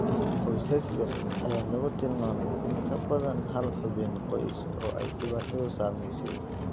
Qoysas yar ayaa lagu tilmaamay in ka badan hal xubin qoys oo ay dhibaatadu saameysey.